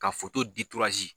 Ka di